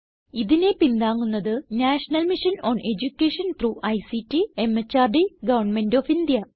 ഇതിനെ പിന്താങ്ങുന്നത് national mission on education through ICT MHRD government of India